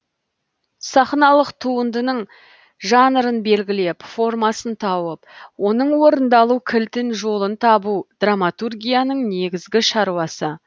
сахналық туындының жанрын белгілеп формасын тауып оның орындалу кілтін жолын табу драматургияның негізгі шаруасы